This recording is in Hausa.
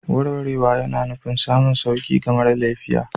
Warwarewa yana nufin samun sauƙi ga mara lafiya.